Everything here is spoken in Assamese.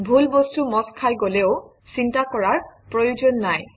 ভুল বস্তু মচ খাই গলেও চিন্তা কৰাৰ প্ৰয়োজন নাই